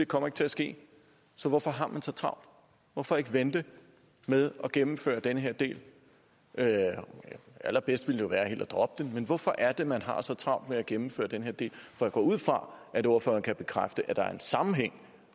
kommer til at ske så hvorfor har man så travlt hvorfor ikke vente med at gennemføre den her del allerbedst ville det jo være helt at droppe den men hvorfor er det man har så travlt med at gennemføre den her del jeg går ud fra at ordføreren kan bekræfte at der er en sammenhæng